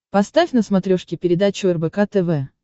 поставь на смотрешке передачу рбк тв